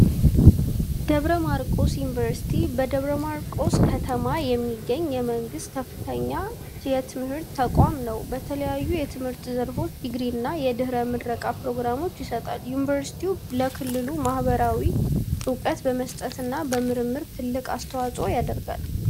ደብረ ማርቆስ ዩኒቨርሲቲ በደብረ ማርቆስ ከተማ የሚገኝ የመንግሥት ከፍተኛ ትምህርት ተቋም ነው። በተለያዩ የትምህርት ዘርፎች ዲግሪና የድኅረ-ምረቃ ፕሮግራሞችን ይሰጣል። ዩኒቨርሲቲው ለክልሉ ማኅበረሰብ ዕውቀት በመስጠትና በምርምር ትልቅ አስተዋጽኦ ያደርጋል።